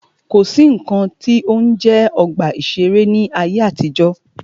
Kò sí nnkan tí ó ń jẹ́ ọgbà ìṣẹ̀rẹ́ ní ayé àtijọ́.